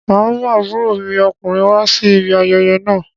Màá mú àbúrò mi ọkùnrin wá sí ibi ayẹyẹ máa.